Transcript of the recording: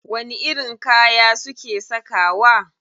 Wani irin kaya suke sakawa?